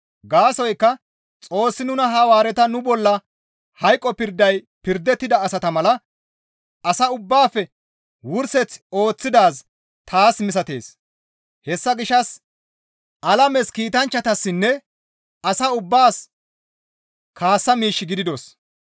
Gaasoykka Xoossi nuna Hawaareta nu bolla hayqo pirday pirdettida asata mala asa ubbaafe wurseth ooththidaaz taas misatees; hessa gishshas alames, kiitanchchatassinne asa ubbaas kaassa miish gididos.